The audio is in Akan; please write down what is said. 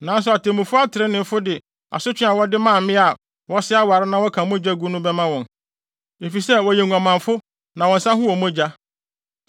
Nanso atemmufo atreneefo de asotwe a wɔde ma mmea a wɔsɛe aware na wɔka mogya gu no bɛma wɔn, efisɛ wɔyɛ nguamanfo na wɔn nsa ho wɔ mogya.